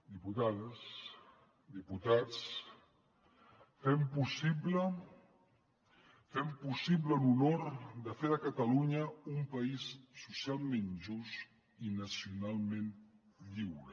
diputades diputats fem possible fem possible l’honor de fer de catalunya un país socialment just i nacionalment lliure